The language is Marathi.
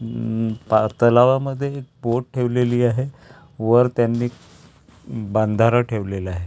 उम पा तलावामध्ये बोट ठेवलेली आहे वर त्यांनी बांधारा ठेवलेला आहे.